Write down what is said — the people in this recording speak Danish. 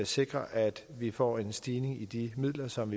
sikre at vi får en stigning i de midler som